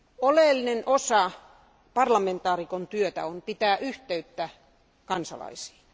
Oleellinen osa parlamentaarikon työtä on pitää yhteyttä kansalaisiin.